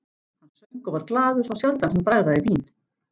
Hann söng og var glaður, þá sjaldan hann bragðaði vín.